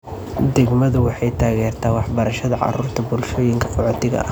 Degmadu waxay taageertaa waxbarashada carruurta bulshooyinka qaxootiga ah.